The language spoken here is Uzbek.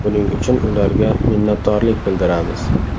Buning uchun ularga minnatdorlik bildiramiz.